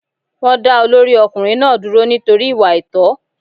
Wọ́n dá olórí ọkùnrin náà dúró nítorí ìwà àìtó.